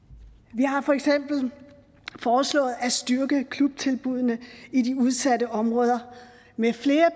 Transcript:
vi har for eksempel foreslået at styrke klubtilbuddene i de udsatte områder med flere